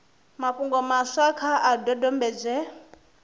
mafhungo maswa kha a dodombedzwe